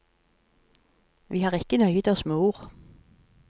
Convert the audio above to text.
Vi har ikke nøyet oss med ord.